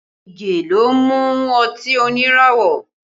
Ige ló mú ọtí oníràwọ̀